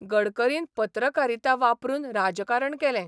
गडकरीन पत्रकारिता वापरून राजकारण केलें.